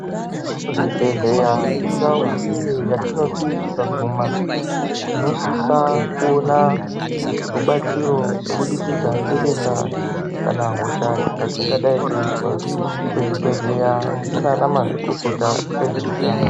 Kuzvibhedhleya indau iyo yatinoti tikaguma tinosisa kuona rubatsiro kubudikidza ngedenda kanahosha yatingadai teizwa. Kuzvibhedhleya kuna anamazvikokota ezveutano.